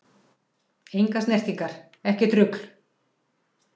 Engar snertingar, ekkert rugl!